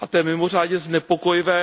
A to je mimořádně znepokojivé.